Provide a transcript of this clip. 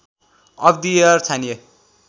of the year छानिए